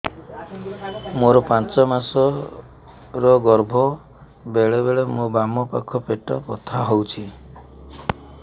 ମୋର ପାଞ୍ଚ ମାସ ର ଗର୍ଭ ବେଳେ ବେଳେ ମୋ ବାମ ପାଖ ପେଟ ବଥା ହଉଛି